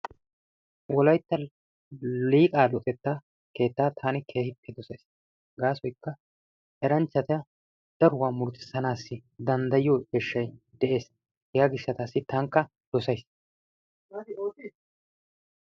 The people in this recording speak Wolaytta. Wolaytta Liiqaa luxetta keettaa taani keehippe dosays. Gaasoykka eranchchata daruwa murutissanaassi danddayiyo eeshshay de'ees. Hegaa gishshataassi tankka dosays.